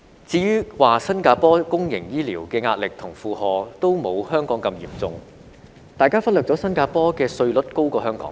至於說新加坡公營醫療的壓力和負荷均沒有香港般嚴重，大家忽略了新加坡的稅率高於香港。